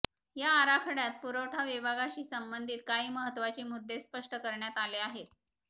या आराखडय़ात पुरवठा विभागाशी संबंधित काही महत्त्वाचे मुद्दे स्पष्ट करण्यात आले आहेत